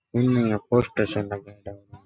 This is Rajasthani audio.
इनमे यहाँ पोस्टर सा लगाएड़ा है।